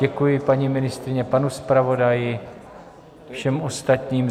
Děkuji paní ministryni, panu zpravodaji, všem ostatním.